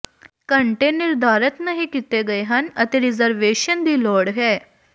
ਘੰਟੇ ਨਿਰਧਾਰਤ ਨਹੀਂ ਕੀਤੇ ਗਏ ਹਨ ਅਤੇ ਰਿਜ਼ਰਵੇਸ਼ਨ ਦੀ ਲੋੜ ਹੈ